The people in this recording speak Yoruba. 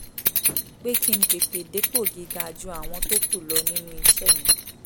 pé kí n tètè dépò gíga ju àwọn tó kù lọ nínú iṣẹ́ mi